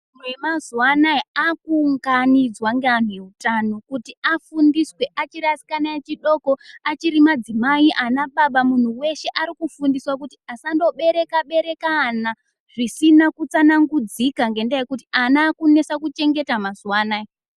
Antu mazuwa anaya akuunganidzwa ngeantu eutano kuti afundiswe achiri asikana echidoko, achirimadzimai, anababa, muntu weshe arikufundiswa kuti asandobereka-bereka ana, zvisina kutsanangudzika ngendaa yekuti ana akunesa kuchengeta mazuva anaya.